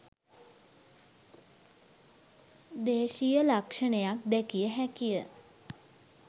දේශීය ලක්ෂණයක් දැකිය හැකිය